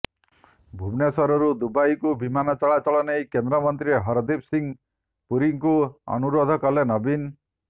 ଭୁବନେଶ୍ବରରୁ ଦୁବାଇକୁ ବିମାନ ଚଳାଚଳ ନେଇ କେନ୍ଦ୍ରମନ୍ତ୍ରୀ ହରଦୀପ ସିଂହ ପୁରୀଙ୍କୁ ଅନୁରୋଧ କଲେ ନବୀନ